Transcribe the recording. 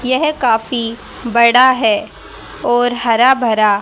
यह काफी बड़ा है और हरा भरा--